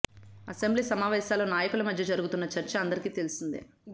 assembly సమావేశాల్లో నాయకుల మధ్య జరుగుతున్న చర్చ అందరికి తెలిసిందే